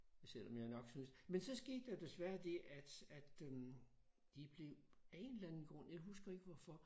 Selvom jeg nok synes men så skete der desværre det at at øh de blev af en eller anden grund jeg husker ikke hvorfor